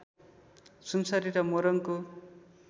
सुनसरी र मोरङको